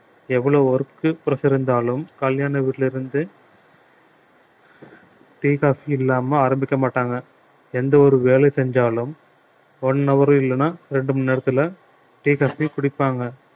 எவ்வளவு work pressure இருந்தாலும் கல்யாண வீட்டுல இருந்து tea coffee இல்லாம ஆரம்பிக்க மாட்டாங்க எந்த ஒரு வேலை செஞ்சாலும் one hour இல்லன்னா ரெண்டு மணி நேரத்துல tea coffee குடிப்பாங்க